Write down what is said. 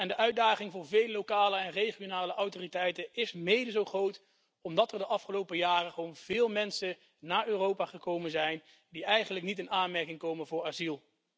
De uitdaging voor veel lokale en regionale autoriteiten is mede zo groot, omdat er de afgelopen jaren veel mensen naar Europa gekomen zijn die eigenlijk niet in aanmerking komen voor asiel.